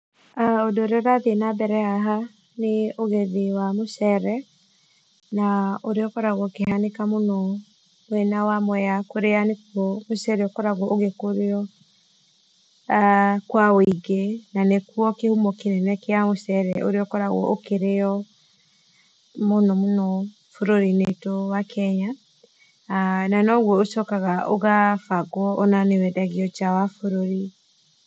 Ũndũ ũrĩa ũrathĩe na mbere haha nĩ ũgethĩ wa mũcere na ũrĩa ũkoragwo ũkĩhanĩka mũno mwena wa Mwea kũrĩa nĩkũo mũcere ũkoragwo ũgĩkũrĩo aah kwa wĩingĩ, na nĩkuo kĩhumo kĩnene kĩa mũcere ũrĩa ũkoragwo ũkĩrĩo mũno mũno bũrũri-inĩ wĩtũ wa Kenya na noguo ũcokaga ũgabangwo o na nĩwendagio nja wa bũrũri.